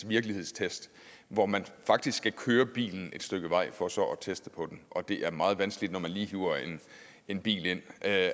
virkelighedstest hvor man faktisk kan køre bilen et stykke vej for så at teste på den og det er meget vanskeligt når man lige hiver en bil ind at